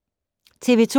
TV 2